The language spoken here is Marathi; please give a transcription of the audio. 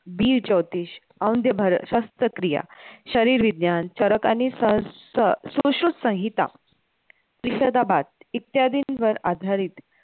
शस्त्रक्रिया, शरीर विज्ञान, चरक आणि सुश्रुत संहिता इत्यादींवर आधारित